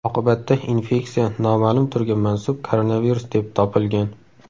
Oqibatda infeksiya noma’lum turga mansub koronavirus deb topilgan.